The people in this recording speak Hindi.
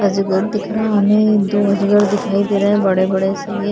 अजगर दिख रहा हमें दो अजगर दिखाई दे रहे हैं बड़े बड़े से ये --